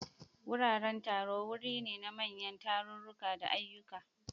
Wuraren taro wuri ne na manyan tarurruka da ayyuka.